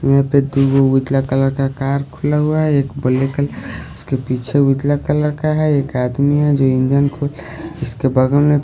यहां पे दो उतला कलर का कार खुला हुआ है एक बले कलर उसके पीछे उतला कलर का है एक आदमी है जो इंजन खोल इसके बागल में--